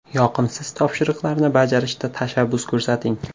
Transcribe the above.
Yoqimsiz topshiriqlarni bajarishda tashabbus ko‘rsating.